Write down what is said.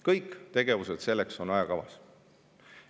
Kõik tegevused selleks on ajakavas.